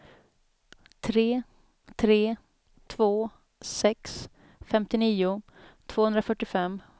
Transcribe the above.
tre tre två sex femtionio tvåhundrafyrtiofem